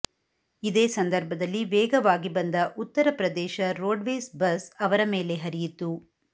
ಇದೇ ಸಂದರ್ಭದಲ್ಲಿ ವೇಗವಾಗಿ ಬಂದ ಉತ್ತರಪ್ರದೇಶ ರೋಡ್ವೇಸ್ ಬಸ್ ಅವರ ಮೇಲೆ ಹರಿಯಿತು